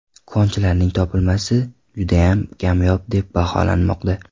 Konchilarning topilmasi juda kamyob deb baholanmoqda.